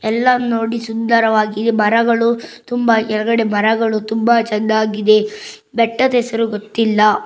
ಎಲ್ಲ ನೋಡಿ ಸುಂದರವಾಗಿದೆ ಮರಗಳು ತುಂಬಾ ಕೆಳಗಡೆ ಮರಗಳು ತುಂಬಾ ಚೆಂದಾಗಿದೆ ಬೆಟ್ಟದಸರು ಗೊತ್ತಿಲ್ಲ.